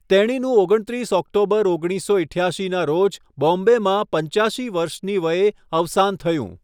તેણીનું ઓગણત્રીસ ઓક્ટોબર ઓગણીસસો ઈઠ્યાશીના રોજ બોમ્બેમાં 85 વર્ષની વયે અવસાન થયું.